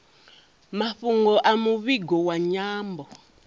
mafhungo a muvhigo wa nyambo